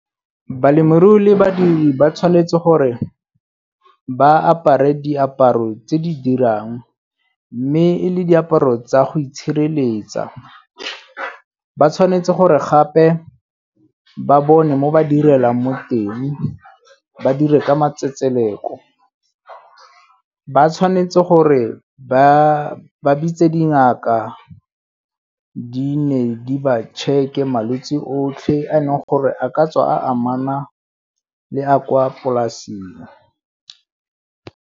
Balemirui le badiri ba tshwanetse gore ba apare diaparo tse di dirang mme e le diaparo tsa go itshireletsa. Ba tshwanetse gore gape ba bone mo ba direlang mo teng, ba dire ka matsetseleko. Ba tshwanetse gore ba bitse dingaka di ne di ba tšheke malwetsi otlhe a e leng gore a ka tswa a amana le a kwa polasing.